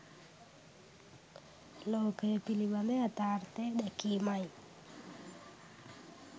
ලෝකය පිළිබඳ යථාර්ථය දැකීමයි.